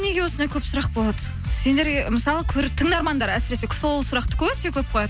неге осындай көп сұрақ болады сендерге мысалы тыңдармандар әсіресе сол сұрақты өте көп қояды